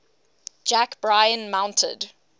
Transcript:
jack bryan mounted